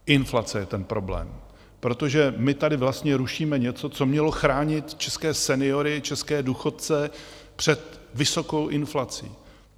Inflace je ten problém, protože my tady vlastně rušíme něco, co mělo chránit české seniory, české důchodce před vysokou inflací.